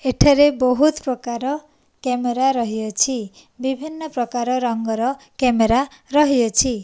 ଏଠାରେ ବୋହୁତ ପ୍ରକାର କ୍ୟାମେରା ରହିଅଛି ବିଭିନ୍ନ ପ୍ରକାର ରଙ୍ଗର କ୍ୟାମେରା ରହିଅଛି।